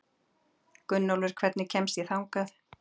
Gunnólfur, hvernig kemst ég þangað?